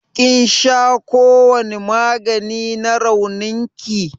ƙin sha kowani magani na raunin ki?